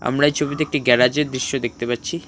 আমরা এই ছবিতে একটি গ্যারাজের দৃশ্য দেখতে পাচ্ছি।